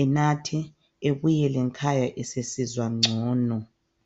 enathe ebuyele ngkhaya esesizwa ngcono.